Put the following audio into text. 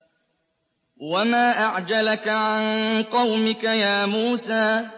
۞ وَمَا أَعْجَلَكَ عَن قَوْمِكَ يَا مُوسَىٰ